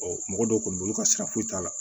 mɔgɔ dɔw kɔni bolo ka sira foyi t'a la